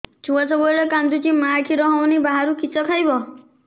ଛୁଆ ସବୁବେଳେ କାନ୍ଦୁଚି ମା ଖିର ହଉନି ବାହାରୁ କିଷ ଖାଇବ